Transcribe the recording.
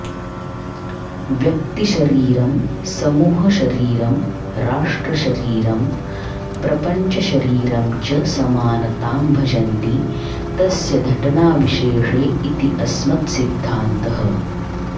व्यक्तिशरीरं समूहशरीरं राष्ट्रशरीरं प्रपञ्चशरीरं च समानतां भजन्ति तस्य धटनाविशेषे इति अस्मत्सिद्धान्तः